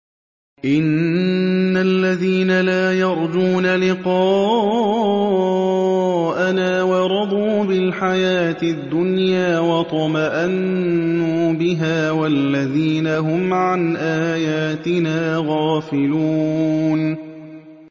إِنَّ الَّذِينَ لَا يَرْجُونَ لِقَاءَنَا وَرَضُوا بِالْحَيَاةِ الدُّنْيَا وَاطْمَأَنُّوا بِهَا وَالَّذِينَ هُمْ عَنْ آيَاتِنَا غَافِلُونَ